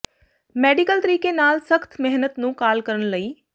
medical ਤਰੀਕੇ ਨਾਲ ਸਖਤ ਮਿਹਨਤ ਨੂੰ ਕਾਲ ਕਰਨ ਲਈ